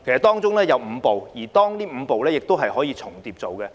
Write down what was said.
當中有5步，而這5步是可以重疊進行的。